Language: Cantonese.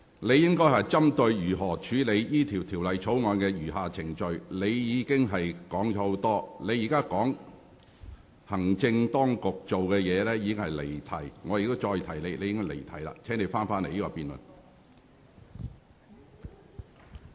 你應針對如何處理《條例草案》的餘下程序發言，而你卻提及眾多其他事宜，現在談論行政當局的作為更是離題。